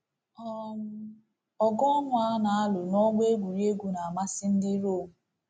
um Ọgụ ọnwụ a na-alụ n’ọgbọ egwuregwu na-amasị ndị Rom.